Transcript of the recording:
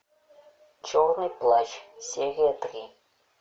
черный плащ серия три